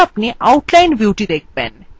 এরপর আপনি outline ভিউটি দেখবেন